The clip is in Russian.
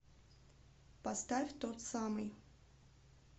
поставь тот самый